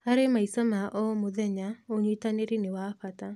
Harĩ maica ma o mũthenya, ũnyitanĩri nĩ wa bata.